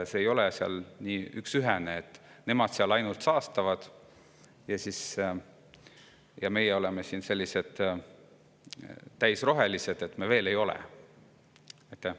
See, et nemad seal ainult saastavad ja meie oleme siin täisrohelised, ei ole nii üksühene, sest me veel ei ole seda.